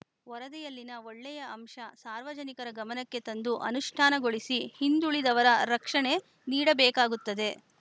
ವರದಿಯಲ್ಲಿನ ಒಳ್ಳೆಯ ಅಂಶ ಸಾರ್ವಜನಿಕರ ಗಮನಕ್ಕೆ ತಂದು ಅನುಷ್ಠಾನಗೊಳಿಸಿ ಹಿಂದುಳಿದವ ರಕ್ಷಣೆ ನೀಡಬೇಕಾಗುತ್ತದೆ